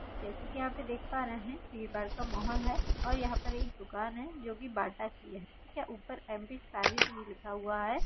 जैसे के यहां पे देख पा रहे है ये बाहर का माहोल है और यहां पे एक दुकान है जो की बाटा की है ठीक है ऊपर यम_पी पारिस लिखा हुआ ह।